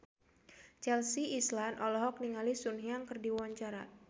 Chelsea Islan olohok ningali Sun Yang keur diwawancara